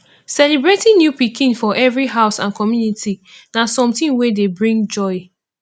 celebrating new pikin for every house and community na something wey dey bring joy